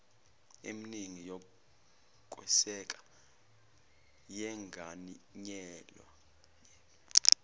emningi yokweseka yenganyelwe